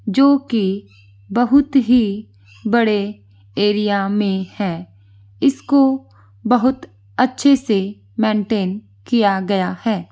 जो कि बहुत ही बड़े एरिया में है इसको बहुत अच्छे से मेंटेन किया गया है।